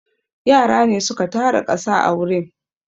Yara ne su ka tara ƙasa a wurin.